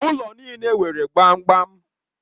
Ụlọ niile nwere gbamgbam